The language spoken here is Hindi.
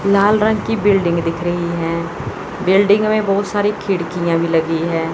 लाल रंग की बिल्डिंग दिख रही हैं बिल्डिंग में बहुत सारी खिड़कियां भी लगी हैं।